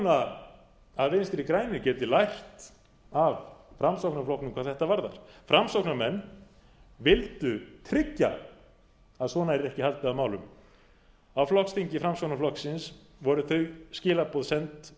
vona að vinstri grænir geti lært af framsóknarflokknum hvað þetta varðar framsóknarmenn vildu tryggja að svona yrði ekki haldið á málum á flokksþingi framsóknarflokksins voru þau skilaboð send